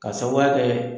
K'a sababu kɛ